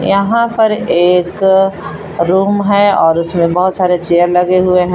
यहां पर एक रूम है और उसमें बहुत सारे चेयर लगे हुए हैं।